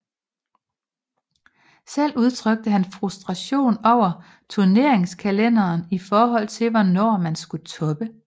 Selv udtrykte han frustration over turneringskalenderen i forhold til hvornår man skulle toppe